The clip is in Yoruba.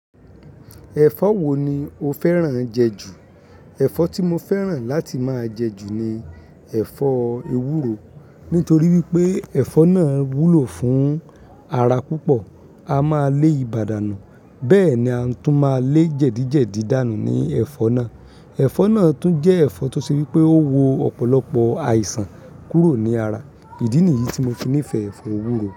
Ẹ̀fọ́ wo ni o fẹ́ràn jẹ jù? Ẹ̀fọ́ tí mo fẹ́ràn láti máa jẹ jù ni ẹ̀fọ́ ewúro. Nítorí wípé ẹ̀fọ́ náà wúlò fún ara púpọ̀, a máa lé ìbàdànù, bẹ́ẹ̀ ni a tún máa lé jẹ̀díjẹ̀dí dànù ní ẹ̀fọ́ náà. Ẹ̀fọ́ náà tún jẹ́ ẹ̀fọ́ tó ṣe wípé ó wo ọ̀pọ̀lọpọ̀ àìsàn kúrò ní ara. Ìdí nìyí tí mo kinífẹ̀ẹ́ ẹ̀fọ́ ewúro.